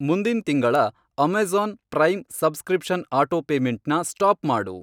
ಮುಂದಿನ್ ತಿಂಗಳ Amazon Prime subscription ಅಟೋಪೇಮೆಂಟ್ನ ಸ್ಟಾಪ್ ಮಾಡು.